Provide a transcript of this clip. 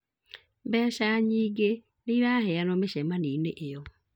Mbeca nyingĩ nĩiraheyanwo mĩcemanioinĩ ĩyo